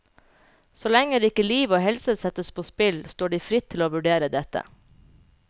Så lenge ikke liv og helse settes på spill, står de fritt til å vurdere dette.